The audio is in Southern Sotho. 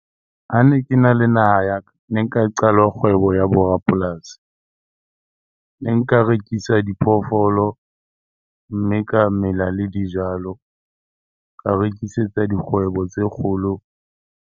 Ha ne kena le naha ya ka, ne nka qala kgwebo ya bo rapolasi. Ne nka rekisa diphoofolo mme ka mela le dijalo, ka rekisetsa dikgwebo tse kgolo.